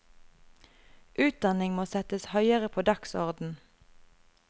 Utdanning må settes høyere på dagsorden.